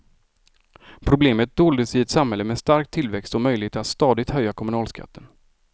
Problemet doldes i ett samhälle med stark tillväxt och möjlighet att stadigt höja kommunalskatten.